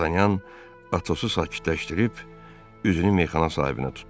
Dartanyan Atosu sakitləşdirib üzünü meyxana sahibinə tutdu.